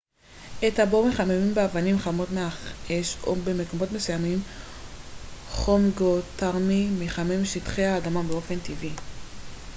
את הבור מחממים באבנים חמות מהאש או במקומות מסוימים חום גאותרמי מחמם שטחי אדמה באופן טבעי